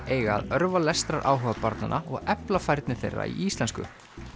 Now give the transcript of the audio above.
eiga að örva lestraráhuga barnanna og efla færni þeirra í íslensku